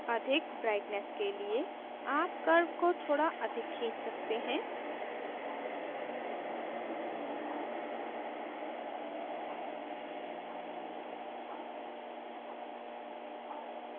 अधिक brightness के लिए आप curve को थोड़ा अधिक खींच सकते हैं